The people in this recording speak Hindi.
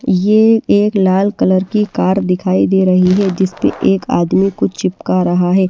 ये एक लाल कलर की कार दिखाई दे रही है जिससे एक आदमी कुछ चिपका रहा है।